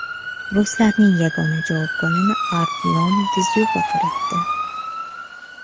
Ruslarning yagona javob golini Artyom Dzyuba kiritdi.